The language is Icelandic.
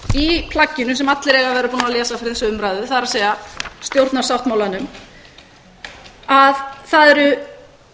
í plagginu sem allir eiga að vera búnir að lesa fyrir þessa umræðu það er stjórnarsáttmálanum að það er